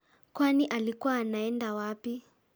Kwani alikuwa anaenda wapi?